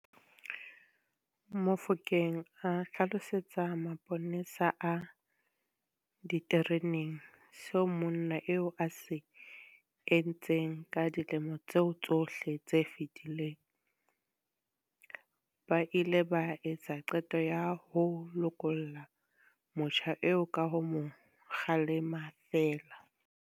Mofokeng a hlalosetsa maponesa a ditereneng seo monna eo a se entseng ka dilemo tseo tsohle tse fetileng, ba ile ba etsa qeto ya ho lokolla motjha eo ka ho mo kgalema feela.